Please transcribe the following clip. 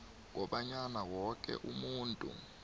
kobanyana woke umuntu